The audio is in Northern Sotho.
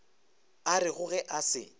a rego ge a se